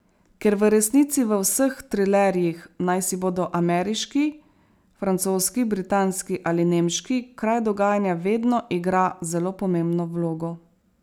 Ker v resnici v vseh trilerjih, naj si bodo ameriški, francoski, britanski ali nemški, kraj dogajanja vedno igra zelo pomembno vlogo.